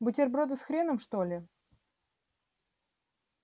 бутерброды с хреном что ли